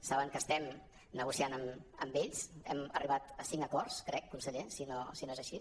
saben que estem negociant amb ells hem arribat a cinc acords crec conseller si no és així